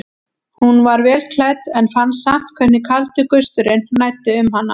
Hún var vel klædd en fann samt hvernig kaldur gusturinn næddi um hana.